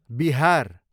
Bihar